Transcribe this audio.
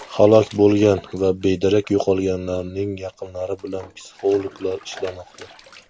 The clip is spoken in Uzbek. Halok bo‘lgan va bedarak yo‘qolganlarning yaqinlari bilan psixologlar ishlamoqda.